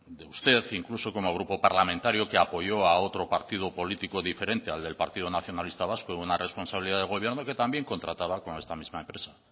de usted incluso como grupo parlamentario que apoyó a otro partido político diferente al del partido nacionalista vasco en una responsabilidad de gobierno y que también contrataba con esta misma empresa